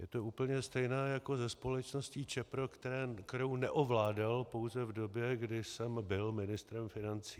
Je to úplně stejné jako se společností Čepro, kterou neovládal pouze v době, kdy jsem byl ministrem financí.